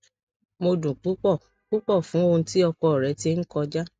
mo dun pupọ pupọ fun ohun ti ọkọ rẹ ti n kọja